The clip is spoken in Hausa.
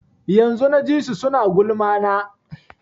Yanzun na ji su suna gulma na